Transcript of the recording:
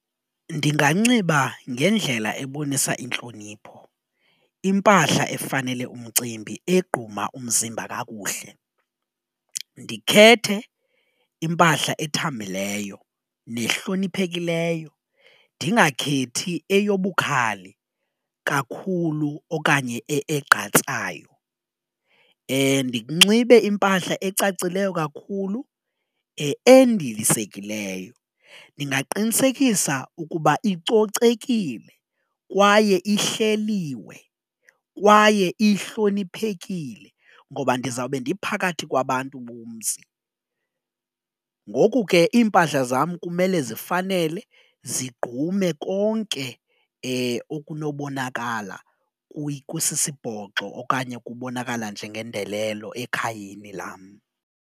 Ndinganxiba ngendlela ebonisa intlonipho impahla efanele umcimbi egquma umzimba kakuhle, ndikhethe impahla ethambileyo nehloniphekileyo ndingakhethi eyobukhali kakhulu okanye egqatsayo ndinxibe impahla ecacileyo kakhulu endilisekileyo ndingaqinisekisa ukuba icocekile kwaye ihleliwe, kwaye ihloniphekile ngoba ndizawube ndiphakathi kwabantu bomzi. Ngoku ke iimpahla zam kumele zifanele zigqume konke okunobonakala kusisibhoxo okanye kubonakala njengendelelo ekhayeni lam.